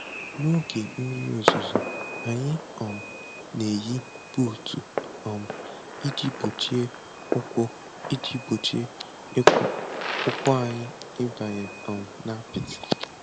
N'oge mmiri ozuzo, anyị um na-eyi buutu um iji gbochie ụkwụ iji gbochie ụkwụ anyị ịbanye um n'apịtị.